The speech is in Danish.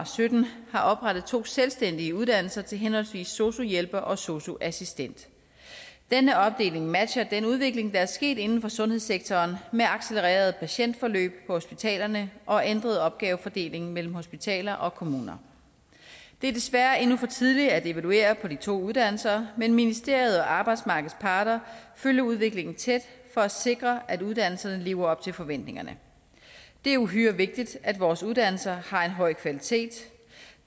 sytten har oprettet to selvstændige uddannelser til henholdsvis sosu hjælper og sosu assistent denne opdeling matcher den udvikling der er sket inden for sundhedssektoren med accelererede patientforløb på hospitalerne og ændret opgavefordeling mellem hospitaler og kommuner det er desværre endnu for tidligt at evaluere de to uddannelser men ministeriet og arbejdsmarkedets parter følger udviklingen tæt for at sikre at uddannelserne lever op til forventningerne det er uhyre vigtigt at vores uddannelser har en høj kvalitet